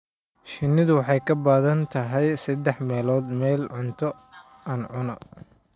Shinnidu waxay ka badan tahay saddex meelood meel cuntada aan cunno.